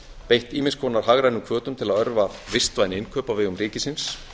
beitt ýmiss konar hagrænum hvötum til að örva vistvæn innkaup á vegum ríkisins